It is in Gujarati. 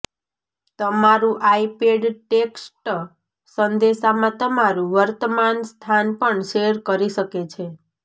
તમારું આઈપેડ ટેક્સ્ટ સંદેશામાં તમારું વર્તમાન સ્થાન પણ શેર કરી શકે છે